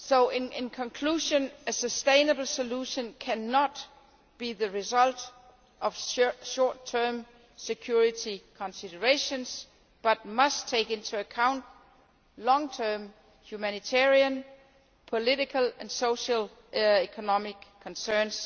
In conclusion, a sustainable solution cannot be the result of short term security considerations, but must take into account long term humanitarian, political and socio economic concerns.